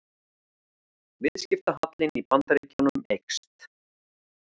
Viðskiptahallinn í Bandaríkjunum eykst